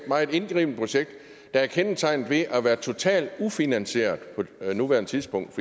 meget indgribende projekt der er kendetegnet ved at være totalt ufinansieret på nuværende tidspunkt